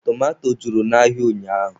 Tomato juru n'ahịa ụnyaahụ